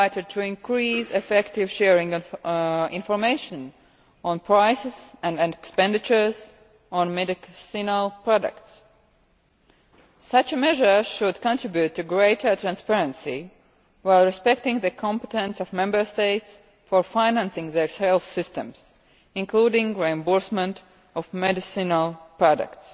to increase effective sharing of information on prices and expenditures on medicinal products such a measure should contribute to greater transparency, while respecting the competence of Member States for financing their health systems, including reimbursement of medicinal products